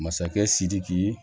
Masakɛ sidiki